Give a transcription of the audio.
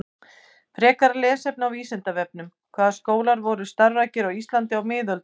Frekara lesefni á Vísindavefnum: Hvaða skólar voru starfræktir á Íslandi á miðöldum?